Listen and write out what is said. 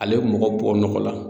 Ale bɛ mɔgɔ bɔ nɔgɔ la.